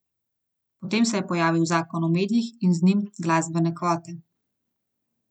Potem se je pojavil zakon o medijih in z njim glasbene kvote.